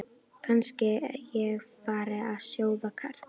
Kannski ég fari að sjóða kartöflur.